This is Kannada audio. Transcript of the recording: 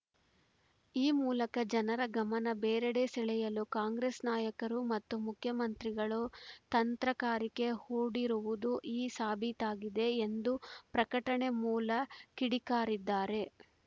ಈ ಮೂಲಕ ಜನರ ಗಮನ ಬೇರೆಡೆ ಸೆಳೆಯಲು ಕಾಂಗ್ರೆಸ್‌ ನಾಯಕರು ಮತ್ತು ಮುಖ್ಯಮಂತ್ರಿಗಳು ತಂತ್ರಗಾರಿಕೆ ಹೂಡಿರುವುದು ಈ ಸಾಬೀತಾಗಿದೆ ಎಂದು ಪ್ರಕಟಣೆ ಮೂಲ ಕಿಡಿಕಾರಿದ್ದಾರೆ